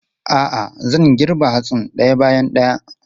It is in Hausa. A'a, zan girbe hatsin ɗaya bayan ɗaya.